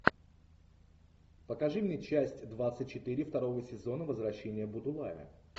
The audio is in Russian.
покажи мне часть двадцать четыре второго сезон возвращение будулая